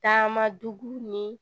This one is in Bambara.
Taama dugu ni